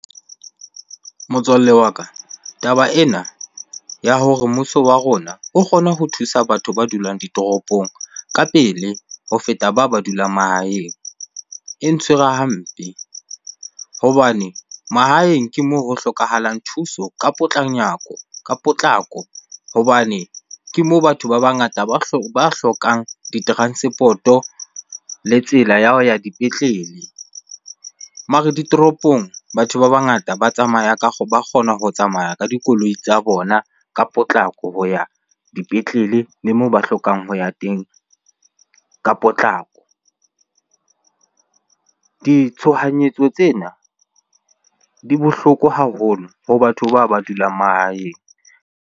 Motswalle wa ka taba ena ya hore mmuso wa rona o kgona ho thusa batho ba dulang ditoropong ka pele ho feta batho ba ba dulang mahaeng, e ntshwere hampe. Hobane mahaeng ke moo ho hlokahalang thuso ka ka potlako hobane ke moo batho ba bangata ba hlokang di-transport-o le tsela ya ho ya dipetlele. Mare ditoropong, batho ba bangata ba tsamaya ba kgona ho tsamaya ka dikoloi tsa bona ka potlako ho ya dipetlele le moo ba hlokang ho ya teng ka potlako. Ditshohanyetso tsena di bohloko haholo ho batho bao ba dulang mahaeng.